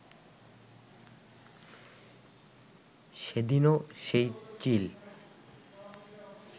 সেদিনও সেই চিল